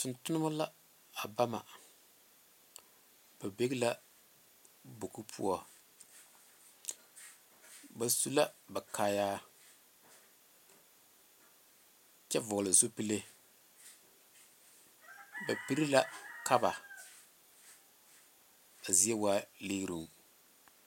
Tontomma la a ba mɛ a ba be la bogi poɔ ba su la ba kaayaar kyɛ vɔgele zupilee ba piri la kaba a zie waa ligeroŋ